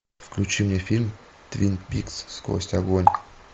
включи мне фильм твин пикс сквозь огонь